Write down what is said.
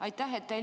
Aitäh!